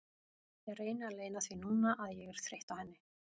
Ég reyni að leyna því núna að ég er þreytt á henni.